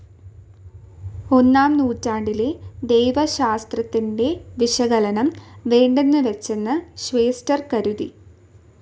ഒന്നാം നൂറ്റാണ്ടിലെ ദൈവശാസ്ത്രത്തിൻ്റെ വിശകലനം വേണ്ടെന്ന് വച്ചെന്ന് ഷ്വേസ്റ്റർ കരുതി.